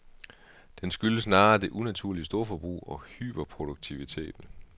Den skyldes snarere det unaturlige storforbrug og hyperproduktiviteten.